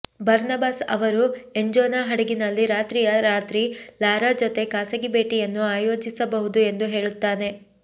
Barnabas ಅವರು ಎಂಜೋನ ಹಡಗಿನಲ್ಲಿ ರಾತ್ರಿಯ ರಾತ್ರಿ ಲಾರಾ ಜೊತೆ ಖಾಸಗಿ ಭೇಟಿಯನ್ನು ಆಯೋಜಿಸಬಹುದು ಎಂದು ಹೇಳುತ್ತಾನೆ